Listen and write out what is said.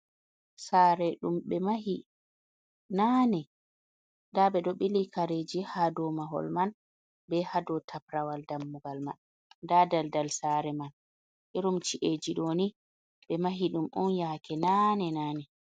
Sare ɗum ɓe mahi naane nda ɓeɗo bili kareji ha domahol man be hadou tabrawal dammugal man nda daldal sare man, irum ci’eji ɗoni ɓe mahi ɗum on yake nane nane.